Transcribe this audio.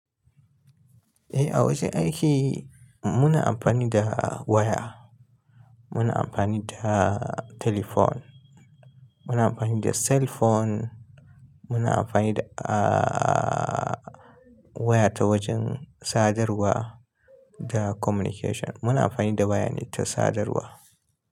Eh, a wajen aiki muna amfani da waya, muna amfani da talifon, muna amfani da cell phone, muna amfani da aa waya ta wajen sadarwa da communication. Muna amfani da waya ne ta sadarwa.